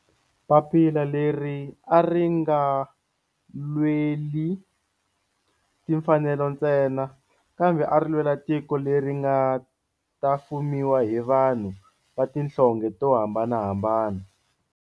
Papila leri a ri nga lweli timfanelo ntsena kambe a ri lwela tiko leri nga ta fumiwa hi vanhu va tihlonge to hambanahambana.